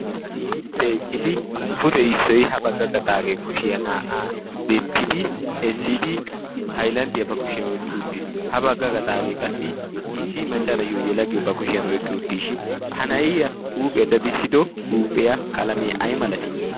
issippe eqqidi pute issoy ha bagga gaxaagee kushiyaa naa'aa denttidi sidi hailanddiyaa ba kushiyan oiqqi uttiis ha bagga gaxaagee qassi issi maccanayyoo ye laggiyo ba kushiyan oiqqi uttiishin ha na'iya huuphiyaa dadissido huuphiyaa qalamee ay malatii?